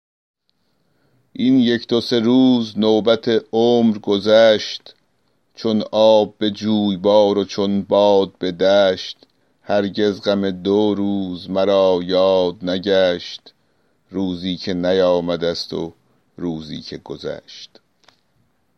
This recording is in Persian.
این یک دو سه روز نوبت عمر گذشت چون آب به جویبار و چون باد به دشت هرگز غم دو روز مرا یاد نگشت روزی که نیامده ست و روزی که گذشت